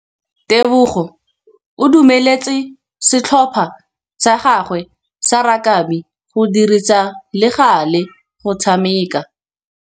Tebogô o dumeletse setlhopha sa gagwe sa rakabi go dirisa le galê go tshameka.